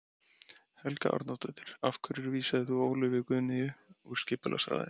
Helga Arnardóttir: Af hverju vísaðir þú Ólöfu Guðnýju úr skipulagsráði?